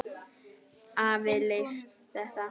Afi leysti þetta.